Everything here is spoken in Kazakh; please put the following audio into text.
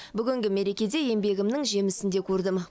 бүгінгі мерекеде еңбегімнің жемісін де көрдім